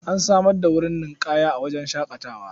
An samar da wurin ninƙaya a wajen shaƙatawar.